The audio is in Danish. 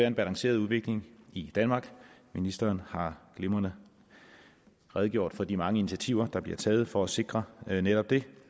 en balanceret udvikling i danmark ministeren har glimrende redegjort for de mange initiativer der bliver taget for at sikre netop det